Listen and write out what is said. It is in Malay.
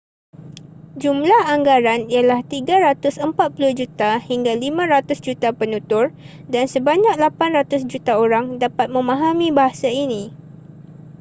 jumlah anggaran ialah 340 juta hingga 500 juta penutur dan sebanyak 800 juta orang dapat memahami bahasa ini